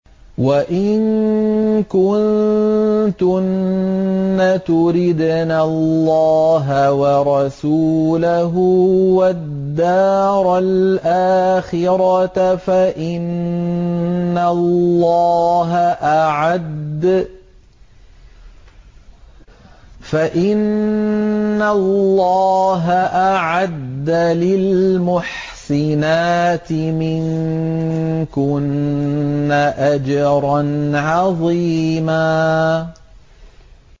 وَإِن كُنتُنَّ تُرِدْنَ اللَّهَ وَرَسُولَهُ وَالدَّارَ الْآخِرَةَ فَإِنَّ اللَّهَ أَعَدَّ لِلْمُحْسِنَاتِ مِنكُنَّ أَجْرًا عَظِيمًا